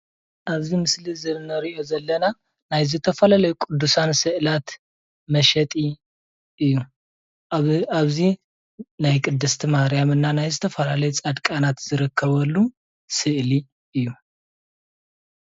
ኣብዚ ምስሊ እንሪኦ ዘለና ናይ ዝተፈላለዩ ቅዱሳን ስእላት መሸጢ እዩ፣ ኣብዚ ናይ ቅድስቲ ማርያምና ናይ ዝተፈላለዩ ፃድቃናት ዝርከበሉ ስእሊ እዩ፡፡